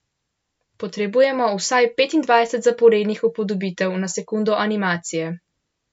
Potrebujemo vsaj petindvajset zaporednih upodobitev na sekundo animacije.